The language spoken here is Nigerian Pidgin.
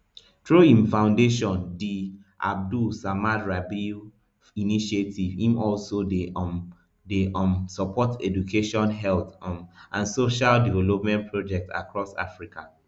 through im foundation di abdul samad rabiu initiative im also dey um dey um support education health um and social development projects across africa